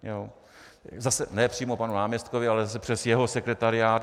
Zase ne přímo panu náměstkovi, ale zase přes jeho sekretariát.